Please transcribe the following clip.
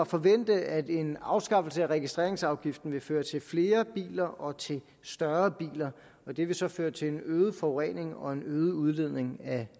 forvente at en afskaffelse af registreringsafgiften vil føre til flere biler og til større biler og det vil så føre til en øget forurening og en øget udledning af